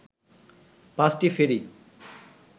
পাঁচটি ফেরি